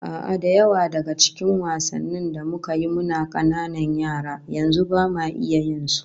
A'a, da yawa daga cikin wasannin da muka yi muna kananan yara, yanzu bama iya yin su